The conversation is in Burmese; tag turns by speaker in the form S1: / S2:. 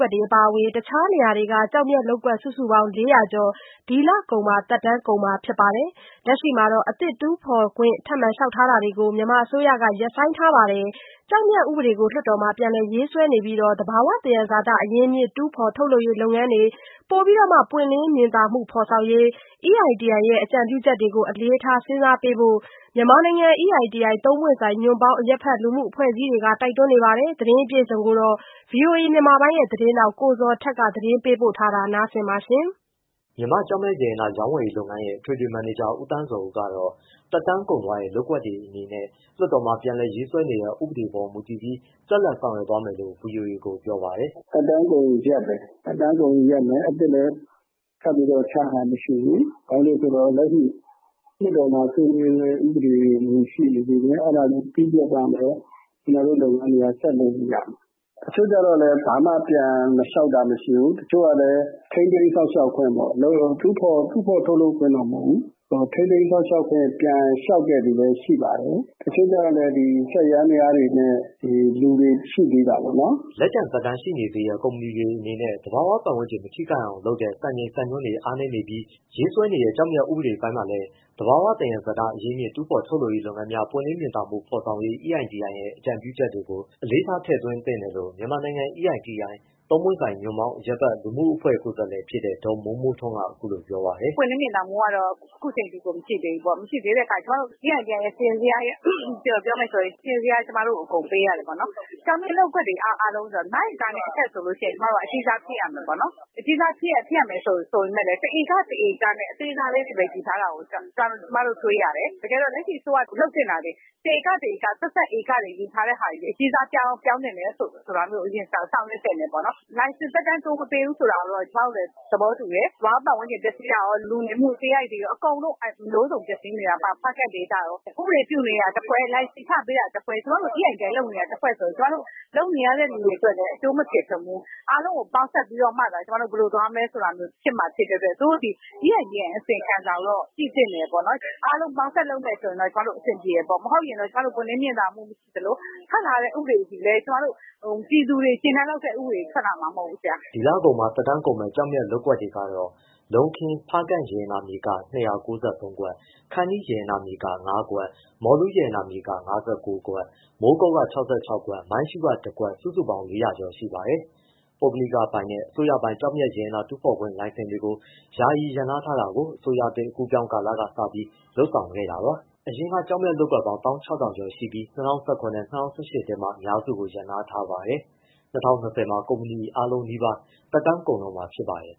S1: ွက်တွေအပါအဝင် အခြားနေရာတွေက ကျောက်မျက်လုပ်ကွက် စုစုပေါင်း ၄၀၀ ကျော် ဒီလကုန်မှာ သက်တမ်း ကုန်မှာဖြစ်ပြီး လက်ရှိမှာ အသစ်ထပ်မံ တူးဖော်ခွင့်လျှောက်ထားတာကို မြန်မာအစိုးရက ရပ်ဆိုင်းထားပါတယ်။ ကျောက်မျက်ဥပဒေကို လွတ်တော်မှာပြန်လည်ရေးဆွဲနေပြီး သဘာဝသယံဇာတအရင်းအမြစ် တူးဖော်ထုတ်လုပ်ရေးလုပ်ငန်းများ ပွင့်လင်းမြင်သာမှု ဖော်ဆောင်ရေး EITI ရဲ့အကြံပြုချက်တွေကို အလေးထားစဉ်းစားဖို့ မြန်မာနိုင်ငံ EITI သုံးပွင့်ဆိုင် ညွှန့်ပေါင်း အရပ်ဘက်လူမှုအဖွဲ့အစည်းတွေက တိုက်တွန်းနေပါတယ်။ ဒီအကြောင်း VOA သတင်းထောက် ကိုဇော်ထက်က သတင်းပေးပို့ထားပါတယ်။
S2: မြန်မာ့ကျောက်မျက်ရတနာ ရောင်းဝယ်ရေးလုပ်ငန်းရဲ့ အထွေထွေမန်နေဂျာ ဦးသန်းဇော်ဦးကတော့ သက်တမ်းကုန်သွားတဲ့လုပ်ကွက်တွေအနေနဲ့ လွှတ်တော်မှာ ပြန်လည်ရေးဆွဲနေတဲ့ ဥပဒေအပေါ်မူတည်ပြီး ဆက်လက်ဆောင်ရွက်သွားမယ်လို့ VOA က ပြောပါတယ်။ “
S3: ကျွန်တော်တို့ကတော့ သက်တမ်းကုန်ရင်ရပ်ပဲ အသစ်လည်းထပ်ပြီးချထားတာမရှိဘူး။ လက်ရှိမှာ လွှတ်တော်မှာ ဆွေးနွေးတဲ့ဥပဒေတွေ ရှိနေသေးတယ် အဲဒါတွေပြီးတဲ့အခါမှ ကျွန်တော်တို့လုပ်ငန်းတွေ ဆက်လုပ်လို့ရမယ်။ တချို့ကျတော့လည်း ဘာမှပြန်လျှောက်တာမှရှိဘူး။ တချို့ကျတော့လည်း ထိန်းသိမ်းစောင့်ရှောက်ခွင့်ပေါ့ တူးဖော်ထုတ်လုပ်ခွင့်တော့မဟုတ်ဘူး ထိန်းသိမ်းစောင့်ရှောက်ခွင့် ပြန်လျောက်တဲ့သူ လည်းရှိပါတယ်။ တချို့ကျတော့လည်း စက်ယန္တယားတွေနဲ့ လူတွေရှိသေးတာပေါ့နော်။
S2: ” လက်ကျန်သက်တမ်းရှိနေသေးတဲ့ကုမ္ပဏီတွေအနေနဲ့ သဘာဝပတ်ဝန်းကျင်မထိခိုက်အောင်လုပ်တဲ့ စံချိန်စံညွှန်းတွေအားနေပြီး ရေးဆွဲနေတဲ့ ကျောက်မျက်ဥပဒေပိုင်းမှာလည်း သဘာဝသယံဇာတအရင်းအမြစ် တူးဖော်ထုတ်လုပ်ရေးလုပ်ငန်းများ ပွင့်လင်းမြင်သာမှု ဖော်ဆောင်ရေး EITI ရဲ့အကြံပြုချက်တွေကို အလေးထားထည့်သွင်းသင့်တယ်လို့ မြန်မာနိုင်ငံ EITI သုံးပွင့်ဆိုင် ညွှန့်ပေါင်း အရပ်ဘက်လူမှုအဖွဲ့ကိုယ်စားလှယ်ဖြစ်တဲ့ ဒေါ်မိုးမိုးထွန်းက အခုလိုပြောပါတယ်။ “ပွင့်လင်းမြင်သာမှုကတ
S4: ော့ အခုအချိန်အထိ မရှိသေးဘူးပေါ့ ကျွန်မတေို့ EITI စာရင်းဇယားအရပြောမယ်ဆိုရင် ကျွန်မတို့ကို စာရင်းဇယား အကုန်ပေးရတယ်ပေါ့ ကျောက်မျက်လုံးကွက်တွေအားလုံးဆိုတော့ ငါးဧကနဲ့အထက်ဆိုရင် ကျွန်မတို့က အကြီးစားဖြစ်ရ မယ်ပေါ့နော်။ အကြီးစားဖြစ်ရမယ်ဆိုပေမဲ့ တစ်ဧက တစ်ဧကနဲ့ အသေးစားလေးတွေယူထားတာကို ကျွန်မတို့တွေ့ရတယ် တကယ်တော့ လက်ရှိအစိုးရလုပ်သင့်တာတွေ တစ်ဧက တစ်ဧက ဆက်စပ်ယူထားတာတွေအကြီးစားပြောင်းသင့်တာမျိုးဆောင်ရွက်သင့်တယ်။ လိုင်စင် သက်တမ်းတိုးမပေးဘူးဆိုတာတော့ ကျွန်မတို့လည်း သဘောတူတယ်။ သဘာဝပတ်ဝန်းကျင်ပျက်စီးတာရော၊ လူနေမှုစရိုက်တွေရော အမျိုးစုံပျက်စီးနေတာ ဖားကန့်ဒေသရော။ ဥပဒေပြုနေတာတစ်ဖွဲ့ လိုင်စင်ချပေးတာတစ်ဖွဲ့ ကျွန်မတို့ EITI လုပ်နေတာတစ်ဖွဲ့ဆိုတော့ ကျွန်မတို့ လုပ်နေရတဲ့သူတွေအတွက်လည်း အကျိုးမဖြစ်ထွန်းဘူး အားလုံးကိုပေါင်းစပ်မှသာ ကျွန်မတို့ဘယ်လိုသွားမလဲဆိုတာမျိုးဖြစ်မှ ဖြစ်တဲ့အတွက် သူတို့သည် EITI အစီရင်ခံစာကိုတော့ ကြည့်သင့်တယ်ပေါ့နော်။ အားလုံးပေါင်းစပ်လုပ်ရင်တော့ အဆင်ပြေမယ်ပေါ့။ မဟုတ်ရင်ကျွန်မတို့ ပွင့်လင်းမြင်သာမှုမရှိသလို ထွက်လာတဲ့ဥပဒေသည်လည်း ပြည်သူတွေကျေနပ်လောက်တဲ့ဥပဒေထွက်လာမှာ မဟုတ်ဘူ
S2: း။” ဒီလကုန်မှာသက်တမ်းကုန်မယ့်ကျောက်မျက်လုပ်ကွက်တွေကတော့ လုံးခင်း၊ ဖားကန့်ရတနာမြေက ၂၉၃ ကွက်၊ ခန္တီးရတနာမြေက ၅ကွက်၊ မော်လူးရတနာမြေက ၅၉ကွက်၊ မိုးကုတ်က ၆၆ကွက်၊ မိုင်းရှုးက ၁ကွက် စုစုပေါင်း ၄၀၀ကျော်ရှိပါတယ်။ ပုဂ္ဂလိကပိုင်နဲ့ အစိုးရပိုင် ကျောက်မျက်ရတနာတူဖော်ခွင့် လိုင်စင်တွေယာယီရပ်နားတာကို အစိုးရသစ်အကူးအပြောင်းကာလကစပြီးလုပ်ဆောင်ခဲ့တာပါ။ အရင်က ကျောက်မျက်လုပ်ကွက်ပေါင်း ၁၆၀၀၀ ကျော်ရှိပြီး ၂၀၁၇နဲ့ ၂၀၁၈ ထဲမှာအများစုကိုရပ်နားထားပါတယ်။ ၂၀၂၀မှာ ကုမ္ပဏီအကုန်နီးပါး သက်တမ်းကုန်တော့မှာဖြစ်ပါတယ်